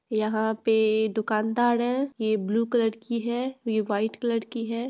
यहाँ पे दुकानदार है ये ब्लू कलर की है और ये व्हाइट कलर की है।